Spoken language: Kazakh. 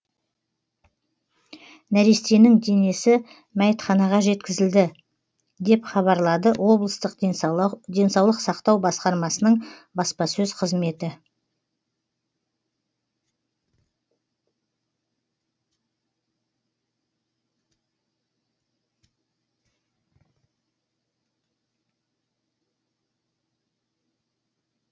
нәрестенің денесі мәйітханаға жеткізілді деп хабарлады облыстық денсаулық сақтау басқармасының баспасөз қызметі